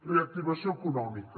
reactivació econòmica